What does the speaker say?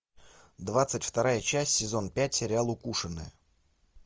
двадцать вторая часть сезон пять сериал укушенная